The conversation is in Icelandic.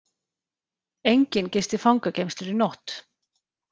Enginn gisti fangageymslur í nótt